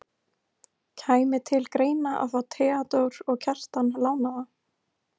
Kæmi til greina að fá Theodór og Kjartan lánaða?